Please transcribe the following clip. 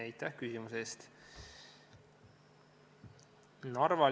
Aitäh küsimuse eest!